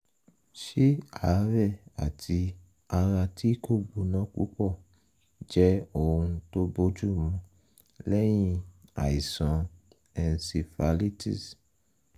ṣé àárẹ̀ àti ara tí kò gbóná púpọ̀ jẹ́ ohun tó bójúmu lẹ́yìn àìsàn encephalitis?